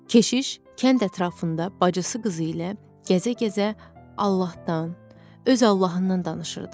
Keşiş kənd ətrafında bacısı qızı ilə gəzə-gəzə Allahdan, öz Allahından danışırdı.